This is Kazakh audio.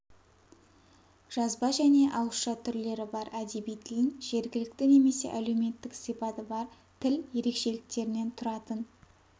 жазба және ауызша түрлері бар әдеби тілін жергілікті немесе әлеуметтік сипаты бар тіл ерекшеліктерінен тұратын